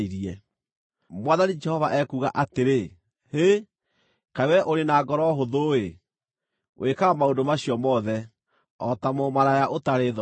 “ ‘Mwathani Jehova ekuuga atĩrĩ, Hĩ! Kaĩ wee ũrĩ wa ngoro hũthũ-ĩ! Wĩkaga maũndũ macio mothe, o ta mũmaraya ũtarĩ thoni!